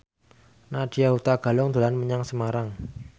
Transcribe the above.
Nadya Hutagalung dolan menyang Semarang